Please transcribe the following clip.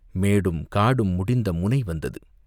மேடும் காடும் முடிந்த முனை வந்தது.